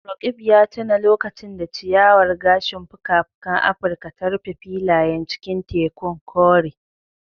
Roqeeb ya tuna lokacin da ciyawar gashin fuka-fukan Afirka ta rufe filayen cikin tekun kore.